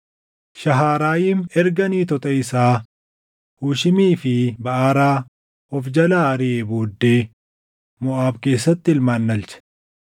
Shaharaayim erga niitota isaa Hushiimii fi Baʼaraa of jalaa ariʼee booddee Moʼaab keessatti ilmaan dhalche.